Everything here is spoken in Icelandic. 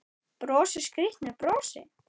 Brosir skrýtnu brosi.